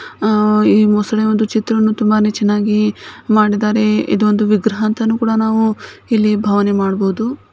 ಆ ಈ ಮೊಸಳೆಯ ಒಂದು ಚಿತ್ರವನ್ನು ತುಂಬಾನೇ ಚೆನ್ನಾಗಿ ಮಾಡಿದ್ದಾರೆ ಇದು ಒಂದು ವಿಗ್ರಹ ಅಂತನು ಕೂಡ ನಾವು ಇಲ್ಲಿ ಭಾವನೆ ಮಾಡಬಹುದು.